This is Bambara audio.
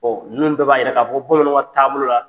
ninnu bɛɛ b'a yira k'a fɔ, bamananw ka taabolo la